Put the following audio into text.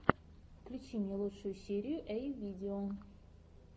включи мне лучшую серию эй видео